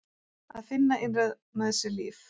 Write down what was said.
Að finna innra með sér líf.